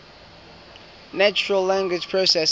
natural language processing